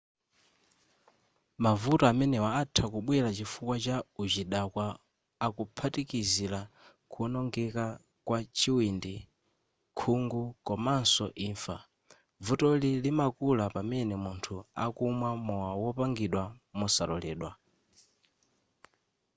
mavuto amene atha kubwela chifukwa cha uchidakwa akuphatikizila kuonongeka kwa chiwindi khungu komanso imfa vutoli limakula pamene munthu akumwa mowa wopangidwa mosaloledwa